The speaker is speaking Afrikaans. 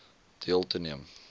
deel te neem